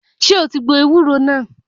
Ṣé o ti gbọ ewúro náà?